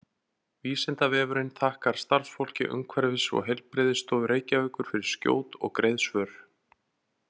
Vísindavefurinn þakkar starfsfólki Umhverfis- og heilbrigðisstofu Reykjavíkur fyrir skjót og greið svör.